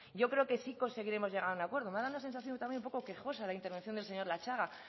yo creo que sí que conseguiremos llegar a un acuerdo me ha dado una sensación también un poco quejosa la intervención del señor latxaga